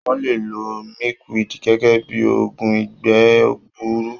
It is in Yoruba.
Wọ́n le lo milkweed gẹ́gẹ́ bí i oògùn ìgbẹ́ gbuuru.